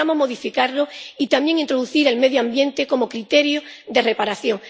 Necesitamos modificarlo y también introducir el medio ambiente como criterio de reparación.